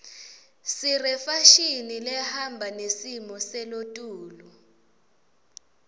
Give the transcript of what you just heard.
sirefashini lehamba nesimo selotulu